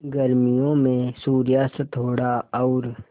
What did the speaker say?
गर्मियों में सूर्यास्त थोड़ा और